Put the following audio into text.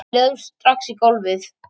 Við lögðumst strax í gólfið